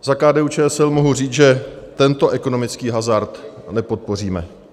Za KDU-ČSL mohu říct, že tento ekonomický hazard nepodpoříme.